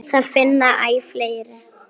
Það finna æ fleiri.